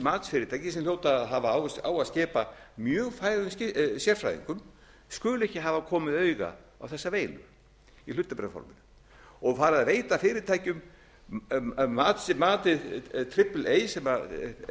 matsfyrirtæki sem hljóta að hafa á að skipa mjög færum sérfræðingum skuli ekki hafa komið auga á þessa veilu í hlutabréfaforminu og farið að veita fyrirtækjum með matið triple a sem er